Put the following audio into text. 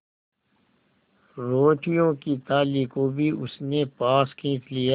रोटियों की थाली को भी उसने पास खींच लिया